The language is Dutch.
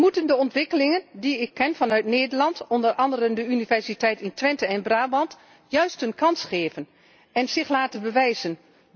We moeten de ontwikkelingen die ik ken vanuit Nederland, onder andere aan de Universiteit in Twente en Brabant, juist een kans geven en zich laten bewijzen.